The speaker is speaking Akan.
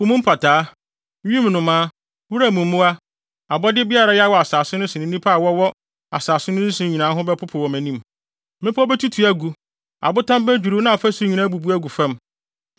Po mu mpataa, wim nnomaa, wuram mmoa, abɔde biara a ɛwea wɔ asase so ne nnipa a wɔwɔ asase so nyinaa ho bɛpopo wɔ mʼanim. Mmepɔw betutu agu, abotan bedwiriw na afasu nyinaa abubu agu fam.